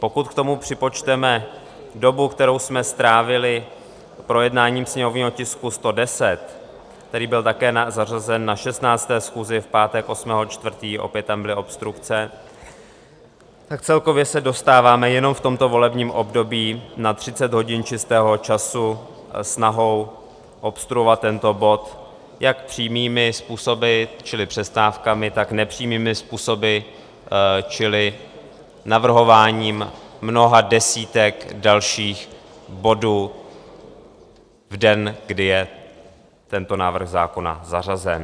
Pokud k tomu připočteme dobu, kterou jsme strávili projednáním sněmovního tisku 110, který byl také zařazen na 16. schůzi v pátek 8. 4., opět tam byly obstrukce, tak celkově se dostáváme jenom v tomto volebním období na 30 hodin čistého času snahou obstruovat tento bod jak přímými způsoby, čili přestávkami, tak nepřímými způsoby, čili navrhováním mnoha desítek dalších bodů v den, kdy je tento návrh zákona zařazen.